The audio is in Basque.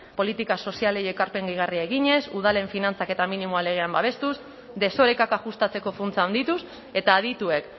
politika sozialei ekarpen gehigarria eginez udalen finantzaketa minimoa legean babestuz desorekak ajustatzeko funtsa handituz eta adituek